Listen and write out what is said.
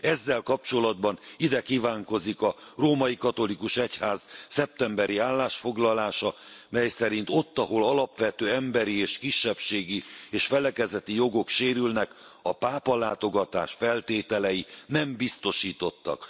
Ezzel kapcsolatban ide kívánkozik a római katolikus egyház szeptemberi állásfoglalása, mely szerint ott, ahol alapvető emberi és kisebbségi és felekezeti jogok sérülnek, a pápalátogatás feltételei nem biztosítottak.